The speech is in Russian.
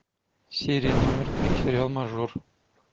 серия номер три сериал мажор